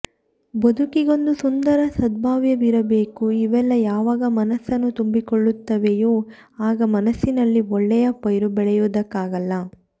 ಬದುಕಿಗೊಂದು ಸುಂದರ ಸದ್ಭಾವವಿರಬೇಕುಇವೆಲ್ಲ ಯಾವಾಗ ಮನಸ್ಸನ್ನು ತುಂಬಿಕೊಳ್ಳುತ್ತವೆಯೋ ಆಗ ಮನಸ್ಸಿನಲ್ಲಿ ಒಳ್ಳೆಯ ಪೈರು ಬೆಳೆಯೋದಕ್ಕಾಗಲ್ಲ